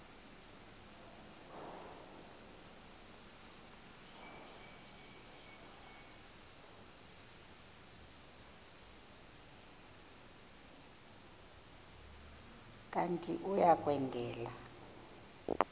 kanti uia kwendela